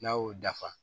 N'a y'o dafa